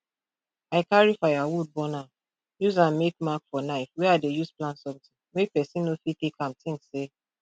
i carry firewood burn am use am make mark for knife wey i dey use plant somtin make person no fit take am think say